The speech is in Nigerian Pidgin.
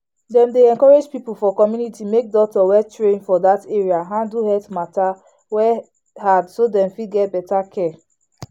dem dey encourage people for community make doctor wey train for that area handle health matter wey hard so dem fit get better care.